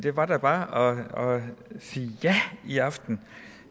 var da bare at sige ja i aften